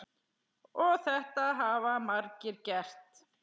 Og þetta hafa margir gert.